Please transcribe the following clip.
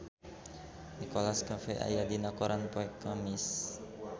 Nicholas Cafe aya dina koran poe Kemis